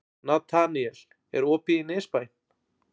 Nataníel, er opið í Nesbæ?